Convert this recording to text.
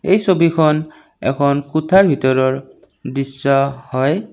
এই ছবিখন এখন কোঠাৰ ভিতৰৰ দৃশ্য হয়।